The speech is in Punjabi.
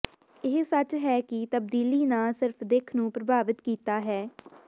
ਇਹ ਸੱਚ ਹੈ ਕਿ ਤਬਦੀਲੀ ਨਾ ਸਿਰਫ ਦਿੱਖ ਨੂੰ ਪ੍ਰਭਾਵਿਤ ਕੀਤਾ ਹੈ